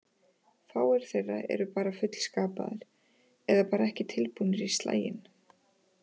Fáir þeirra eru bara fullskapaðir, eða bara ekki tilbúnir í slaginn.